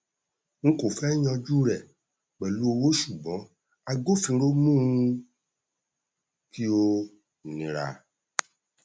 n kò fẹ yanjú rẹ pẹlú owó ṣùgbọn agbófinró mú un kí ó nira